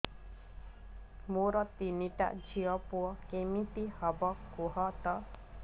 ମୋର ତିନିଟା ଝିଅ ପୁଅ କେମିତି ହବ କୁହତ